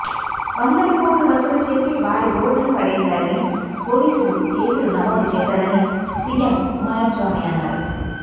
వందల కోట్లు వసూలు చేసి వారి రోడ్డున పడేశారని పోలీసులు కేసులు నమోదు చేశారని సీఎం కుమారస్వామి అన్నారు